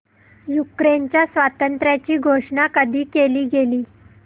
युक्रेनच्या स्वातंत्र्याची घोषणा कधी केली गेली